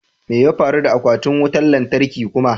Me ya faru da aquatin wutan latarkin kuma?